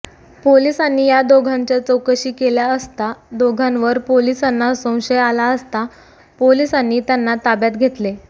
पोलिसांनी या दोघांच्या चौकशी केली असता दोघांवर पोलिसांना संशय आला असता पोलिसांनी त्यांना ताब्यात घेतले